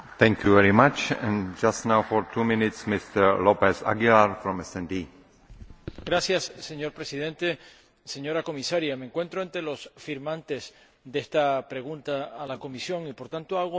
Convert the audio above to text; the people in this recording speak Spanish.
Señor Presidente, señora Comisaria, me encuentro entre los firmantes de esta pregunta a la Comisión, y, por tanto, hago mías las preocupaciones que han expresado los firmantes que intervinieron antes de que usted lo hiciera,